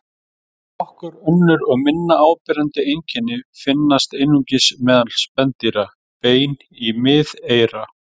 Nokkur önnur og minna áberandi einkenni finnast einungis meðal spendýra: Bein í miðeyra.